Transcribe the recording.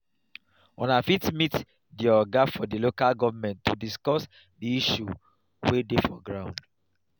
una fit meet di oga for di local government to discuss di issue wey dey for ground